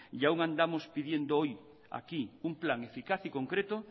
y aún andamos pidiendo hoy aquí un plan eficaz y concreto